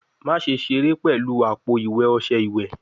Maṣe sere pẹlu apo-iwe ọṣẹ iwẹ?